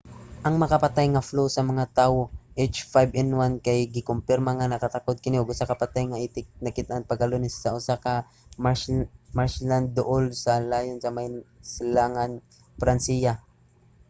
ang makamatay nga flu sa mga tawo h5n1 kay gikumpirma nga nakatakod kini og usa ka patay nga itik nakit-an pagka-lunes sa usa ka marshland duol sa lyon sa may silangan sa pransiya